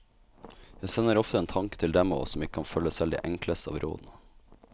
Jeg sender ofte en tanke til dem av oss som ikke kan følge selv de enkleste av rådene.